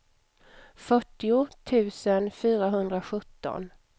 fyrtio tusen fyrahundrasjutton